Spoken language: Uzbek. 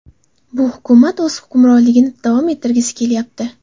Bu hukumat o‘z hukmronligini davom ettirgisi kelyapti.